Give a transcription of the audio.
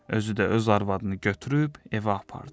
Özü də öz arvadını götürüb evə apardı.